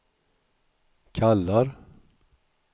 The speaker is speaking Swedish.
kallar